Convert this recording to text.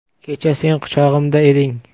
Kecha sen quchog‘imda eding.